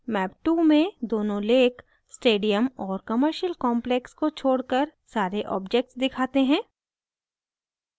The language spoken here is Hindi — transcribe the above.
map 2 में दोनों lakes stadium और commercial complex को छोड़कर सारे objects दिखाते हैं